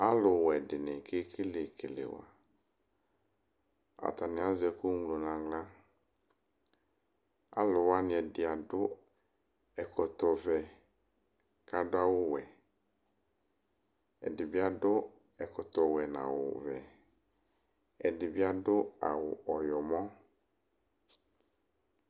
Alʋwɛ dɩnɩ kekele kelewa, atanɩ azɛ ɛkʋ ŋlo nʋ aɣla. Alʋwanɩ ɛdɩ adʋ ɛkɔtɔvɛ kʋ adʋ awʋwɛ. Ɛdɩbɩ adʋ ɛkɔtɔwɛ nʋ awʋvɛ, ɛdɩbɩ adʋ awʋ ɔyɔmɔ.